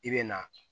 I bɛ na